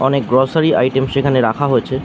অনেক grocery item সেখানে রাখা হয়েছে।